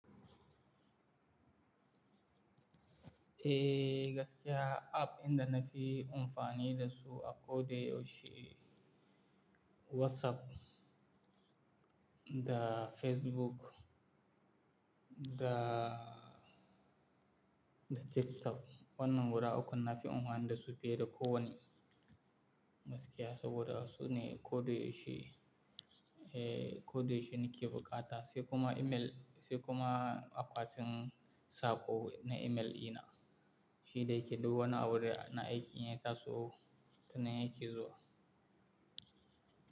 Eh, gaskiya app dinda na fi amfani da su a ko da yaushe WhatsApp da Facebook da, da TikTok. Wannan gura ukun na fi amfani da su fiye da kowanne gaskiya saboda su ne koda yaushe, eh koda yaushe ni ke bukata sai kuma email, sai kuma akwatin sako na email dina, shi da yake duk wani abu na aikin ya taso nan yake zuwa.